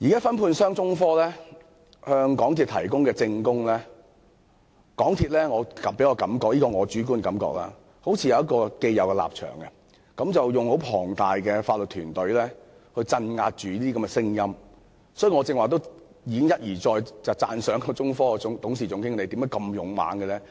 分判商中科現在提供證供，但港鐵公司給我的主觀感覺似是已有既定立場，並要以龐大的法律團隊鎮壓這些聲音，所以我才會一而再讚賞中科董事總經理的勇氣。